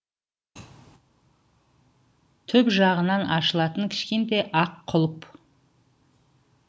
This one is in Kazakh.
түп жағынан ашылатын кішкентай ақ құлып